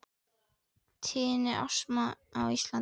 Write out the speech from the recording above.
Tíðni astma á Íslandi